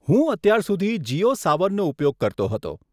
હું અત્યાર સુધી જીઓ સાવનનો ઉપયોગ કરતો હતો.